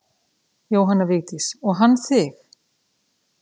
Jóhanna Vigdís: Og hann þig?